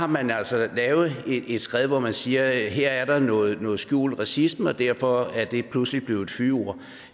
man har altså lavet et skred hvor man siger at her er der noget noget skjult racisme og derfor er det pludselig blevet et fyord